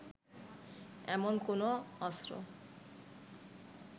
এমন কোনও অস্ত্র